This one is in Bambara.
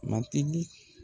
Matigi